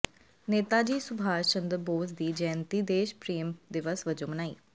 ਨੇਤਾਜੀ ਸੁਭਾਸ਼ ਚੰਦਰ ਬੋਸ ਦੀ ਜੈਅੰਤੀ ਦੇਸ਼ ਪ੍ਰੇਮ ਦਿਵਸ ਵਜੋਂ ਮਨਾਈ